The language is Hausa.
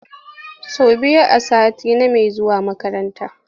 Say biyu a sati name zuwa makaranta.